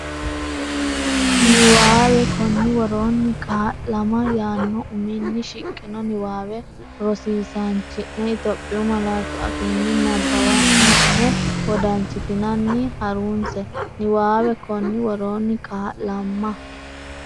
Niwaawe Konni woroonni “kaa’lama” yaanno uminni shiqqino niwaawe rosi- isaanchi’ne Itophiyu malaatu afiinni nabbawanna’ne wodanchitinanni ha’runse Niwaawe Konni woroonni “kaa’lama”.